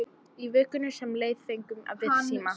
Í vikunni sem leið fengum við síma.